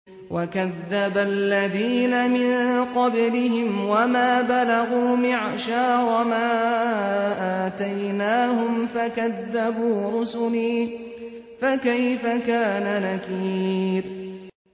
وَكَذَّبَ الَّذِينَ مِن قَبْلِهِمْ وَمَا بَلَغُوا مِعْشَارَ مَا آتَيْنَاهُمْ فَكَذَّبُوا رُسُلِي ۖ فَكَيْفَ كَانَ نَكِيرِ